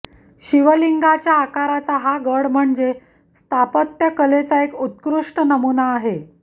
शिवलिंगाच्या आकाराचा हा गड म्हणजे स्थापत्यकलेचा एक उत्कृष्ट नमुना आहे